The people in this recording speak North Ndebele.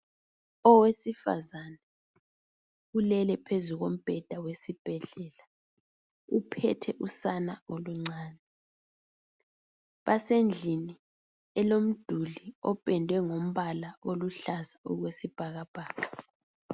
Owesifazana ulele phezu komubheda wesibhedlela uphethe usana oluncane. Basendlini olomduli uphendwe ngombala oluhlaza okwe sibhakabhaka.